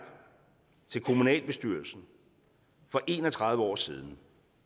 til kommunalbestyrelsen for en og tredive år siden